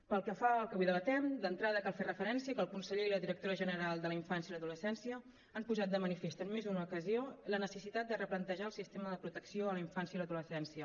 pel que fa al que avui debatem d’entrada cal fer referència que el conseller i la directora general de la infància i l’adolescència han posat de manifest en més d’una ocasió la necessitat de replantejar el sistema de protecció a la infància i l’adolescència